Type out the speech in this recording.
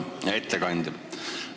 Hea ettekandja!